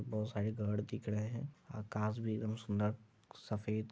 बहुत सारे घर दिख रहे है आकाश भी एकदम सुन्दर सफ़ेद--